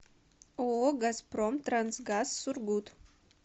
ооо газпром трансгаз сургут